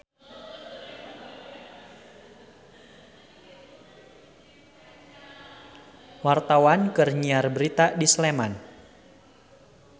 Wartawan keur nyiar berita di Sleman